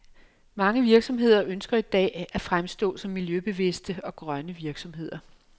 Mange virksomheder ønsker i dag at fremstå som miljøbevidste og grønne virksomheder.